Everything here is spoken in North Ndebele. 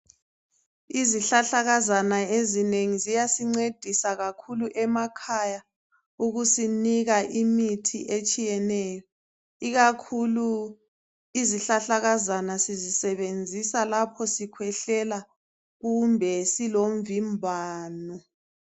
Izihlahlakazana ezinengi ziyasincedisa kakhulu emakhaya ukusinika imithi etshiyeneyo ikakhulu izihlahlakazana sizisebenzisa lapho sikhwehlela kumbe silomvimbano.